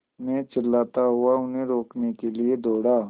मैं चिल्लाता हुआ उन्हें रोकने के लिए दौड़ा